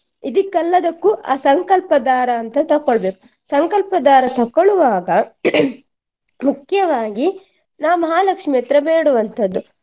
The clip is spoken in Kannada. ಇದಿಕ್ಕೆಲ್ಲದಕ್ಕು ಆ ಸಂಕಲ್ಪ ದಾರ ಅಂತ ತಕೊಳ್ಬೇಕು ಸಂಕಲ್ಪ ದಾರ ತಕ್ಕೊಳ್ಳುವಾಗ ಮುಖ್ಯವಾಗಿ ನಾ ಮಹಾಲಕ್ಷ್ಮಿ ಹತ್ರ ಬೇಡುವಂತದ್ದು.